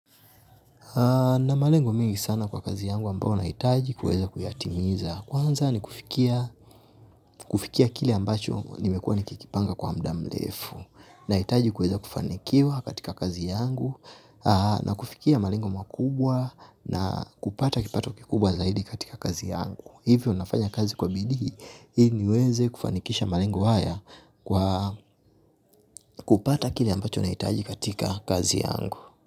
Na malengo mengi sana kwa kazi yangu ambao naitaji kweza kuyatimiza. Kwanza ni kufikia kili ambacho nimekuwa nikikipanga kwa muda mlefu. Naitaji kweza kufanikiwa katika kazi yangu na kufikia malengo mwakubwa na kupata kipata kikubwa zaidi katika kazi yangu. Hivyo nafanya kazi kwa bidii hili niweze kufanikisha malengu haya kwa kupata kile ambacho naitaji katika kazi yangu.